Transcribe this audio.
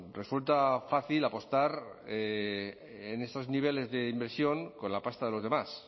resulta fácil apostar en esos niveles de inversión con la pasta de los demás